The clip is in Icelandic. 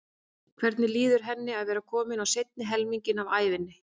Hvernig líður henni að vera komin á seinni helminginn af ævinni?